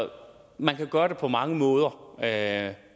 man kan gøre det på mange måder at